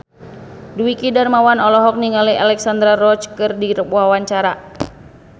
Dwiki Darmawan olohok ningali Alexandra Roach keur diwawancara